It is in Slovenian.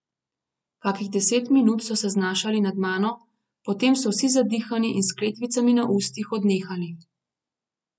Kakih deset minut so se znašali nad mano, potem so vsi zadihani in s kletvicami na ustih odnehali.